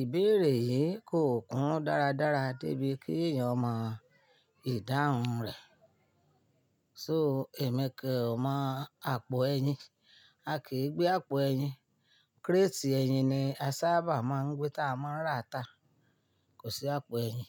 ìbéèrè yìí kò kún dáradára débi kí èèyàn mọ ìdáhùn rẹ̀. So emi ko o mo àpò ẹyin. A kì í gbé àpò ẹyin. Kírétì ẹyin ni a sábà máa ń gbé tá a máa ń rà á tà. Kò sí àpò ẹyin.